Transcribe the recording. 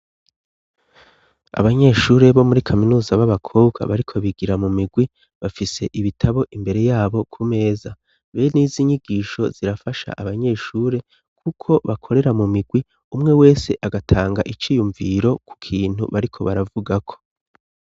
Abanyeshuri bo muri kaminuza b'abakobwa bariko bigira mu migwi, bafise ibitabo imbere yabo ku meza. Benizi nyigisho zirafasha abanyeshure kuko bakorera mu migwi umwe wese agatanga iciyumviro ku kintu bariko baravugako.